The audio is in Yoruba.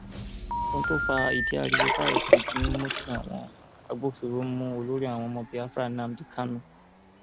ohun tó fa ìdí ariwo báyìí kò ju mímu tí àwọn agbófinró mú olórí àwọn ọmọ biafra nnamdi kanu